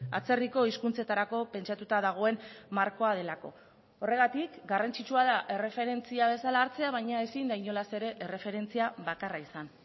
atzerriko hizkuntzetarako pentsatuta dagoen markoa delako horregatik garrantzitsua da erreferentzia bezala hartzea baina ezin da inolaz ere erreferentzia bakarra izan